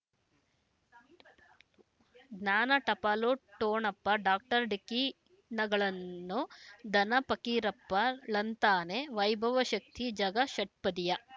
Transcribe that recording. ಜ್ಞಾನ ಟಪಾಲು ಠೊಣಪ ಡಾಕ್ಟರ್ ಢಿಕ್ಕಿ ಣಗಳನು ಧನ ಪಕೀರಪ್ಪ ಳಂತಾನೆ ವೈಭವ ಶಕ್ತಿ ಝಗಾ ಷಟ್ಪದಿಯ